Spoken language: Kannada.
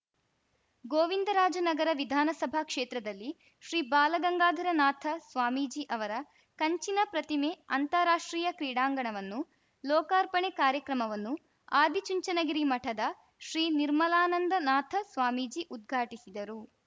ಗೋವಿಂದರಾಜನಗರ ವಿಧಾನಸಭಾ ಕ್ಷೇತ್ರದಲ್ಲಿ ಶ್ರೀ ಬಾಲಗಂಗಾಧರ ನಾಥ ಸ್ವಾಮೀಜಿ ಅವರ ಕಂಚಿನ ಪ್ರತಿಮೆ ಅಂತಾರಾಷ್ಟ್ರೀಯ ಕ್ರೀಡಾಂಗಣವನ್ನು ಲೋಕಾರ್ಪಣೆ ಕಾರ‍್ಯಕ್ರಮವನ್ನು ಆದಿಚುಂಚನಗಿರಿ ಮಠದ ಶ್ರೀ ನಿರ್ಮಲಾನಂದ ನಾಥ ಸ್ವಾಮೀಜಿ ಉದ್ಘಾಟಿಸಿದರು